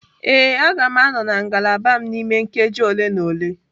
Ee, a ga m anọ na ngalaba m n'ime nkeji ole na ole.